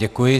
Děkuji.